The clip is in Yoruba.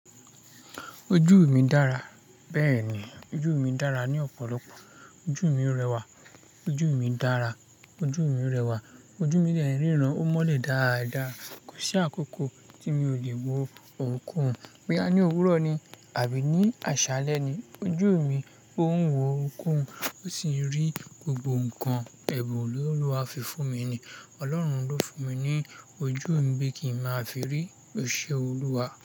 Ojú mi dára. Bẹ́ẹ̀ni, ojú mi dára ní ọ̀pọ̀lọpọ̀. Ojú mi rẹwà, ojú mi dára, ojú mi rẹwà. Ojú mi dẹ̀ ń rìíran, ó mọ́lẹ̀ dáadáa. Kò sí àkókò tí mi ò le wo òkú. Bóyá ní òwúrọ̀ ni àbí ní àṣálẹ́ ni, ojú mi ń wo òkú, ó sì ń rí gbogbo nǹkan ẹbùn tí Olúwa fi fún mi. Ọlọ́run ló fún mi ní ojú mi kí n máa fi rí iṣẹ́ Olúwa.